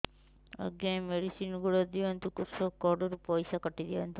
ଆଜ୍ଞା ଏ ମେଡିସିନ ଗୁଡା ଦିଅନ୍ତୁ କୃଷକ କାର୍ଡ ରୁ ପଇସା କାଟିଦିଅନ୍ତୁ